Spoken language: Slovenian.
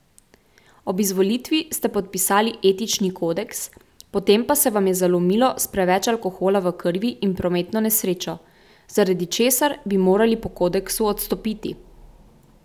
Ob izvolitvi ste podpisali etični kodeks, potem pa se vam je zalomilo s preveč alkohola v krvi in prometno nesrečo, zaradi česar bi morali po kodeksu odstopiti.